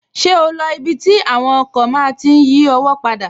Ṣé o lo ibi tí àwọn ọkọ̀ máa tí n yí ọwọ́ padà?